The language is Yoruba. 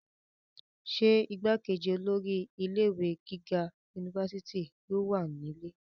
ṣé igbákejì olórí ilé ìwé gíga unifásitì yóò wà nílé?